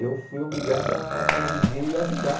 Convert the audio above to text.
eu fui obrigado a conviver e ajudar.